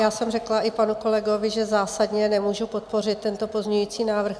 Já jsem řekla i panu kolegovi, že zásadně nemůžu podpořit tento pozměňující návrh.